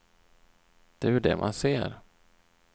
Det är ju det man ser.